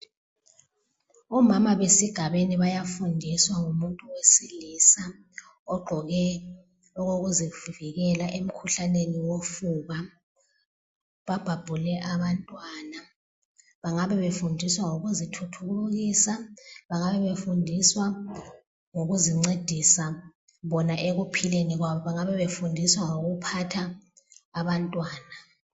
Omama besigabeni bayafundiswa ngumuntu wesilisa ogqoke okokuzivikela emkhuhlaneni wofuba . Babhabhule abantwana , bangabe befundiswa ngokuzithuthukisa, bangabe befundiswa ngokuzincedisa bona ekuphileni kwabo, bengabebefundiswa ngokuphatha abantwana.